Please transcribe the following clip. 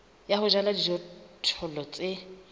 ya ho jala dijothollo tse